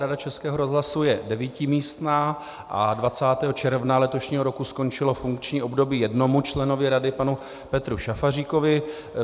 Rada Českého rozhlasu je devítimístná a 20. června letošního roku skončilo funkční období jednomu členovi rady, panu Petru Šafaříkovi.